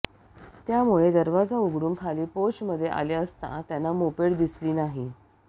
त्यामुळे दरवाजा उघडून खाली पोर्चमध्ये आले असता त्यांना मोपेड दिसली नाही